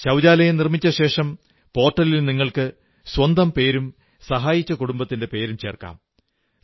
ശൌചാലയം നിർമ്മിച്ച ശേഷം പോർട്ടലിൽ നിങ്ങൾക്ക് സ്വന്തം പേരും സഹായിച്ച കുടുംബത്തിന്റെ പേരും ചേർക്കാം